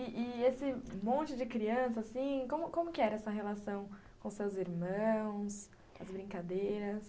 E e esse monte de criança assim, como que era essa relação com seus irmãos, as brincadeiras?